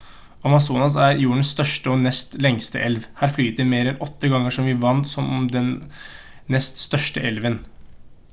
amazonas er jordens største og nest lengste elv her flyter mer enn 8 ganger så mye vann som den nest største elven